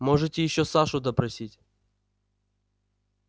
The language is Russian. можете ещё сашу допросить